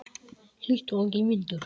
Hlýtt og enginn vindur.